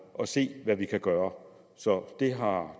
og se hvad vi kan gøre så det har